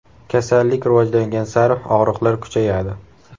Kasallik rivojlangan sari og‘riqlar kuchayadi.